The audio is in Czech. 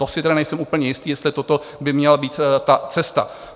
To si tedy nejsem úplně jistý, jestli toto by měla být ta cesta.